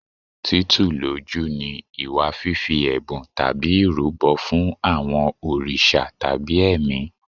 Títù lójú ni ìwà fífi ẹ̀bùn tàbí ìrúbọ fún àwọn òrìṣà tàbí ẹ̀mí.